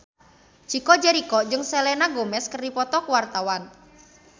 Chico Jericho jeung Selena Gomez keur dipoto ku wartawan